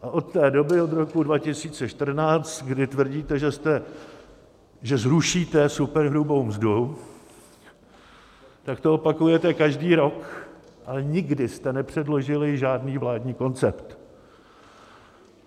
A od té doby, od roku 2014, kdy tvrdíte, že zrušíte superhrubou mzdu, tak to opakujete každý rok, ale nikdy jste nepředložili žádný vládní koncept.